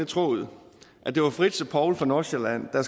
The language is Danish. troet at det var fritz og poul fra nordsjælland der